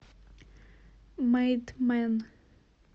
мейд мэн